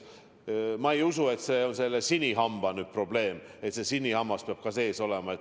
Ma ei usu, et see on sinihamba probleem, et sinihammas peab ka sees olema.